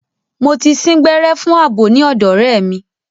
Mo ti sín gbẹ́rẹ́ fún àbò ní ọ̀dọ̀ ọ̀rẹ́ mi.